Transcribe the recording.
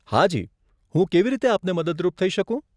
હાજી, હું કેવી રીતે આપને મદદરૂપ થઇ શકું?